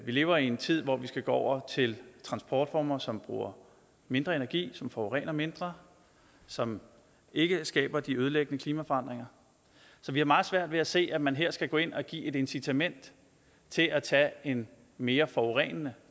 vi lever i en tid hvor vi skal gå over til transportformer som bruger mindre energi som forurener mindre som ikke skaber de ødelæggende klimaforandringer så vi har meget svært ved at se at man her skal gå ind og give et incitament til at tage en mere forurenende